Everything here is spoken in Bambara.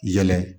Yɛlɛ